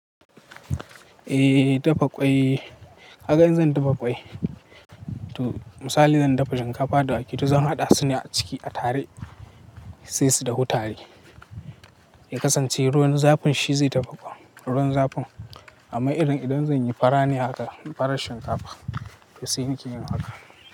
Eh, dafa ƙwai. Kaga in zan dafa ƙwai to misali zan dafa shinkafa da wake to zan haɗa su ne a ciki a tare sai su dahu tare. Ya kasance ruwan zafin shi zai dafa ƙwan ruwan zafin. Amma irin idan zan yi fara ne haka, farar shinkafa to sai nake yin haka.